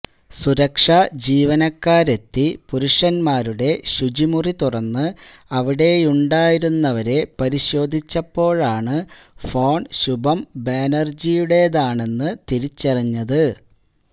സുരക്ഷാ ജീവനക്കാരെത്തി പുരുഷന്മാരുടെ ശുചിമുറി തുറന്ന് അവിടെയുണ്ടായിരുന്നവരെ പരിശോധിച്ചപ്പോഴാണ് ഫോൺ ശുഭം ബാനർജിയുടേതാണെന്ന് തിരിച്ചറിഞ്ഞത്